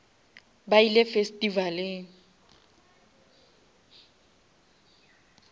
ba ile festivaleng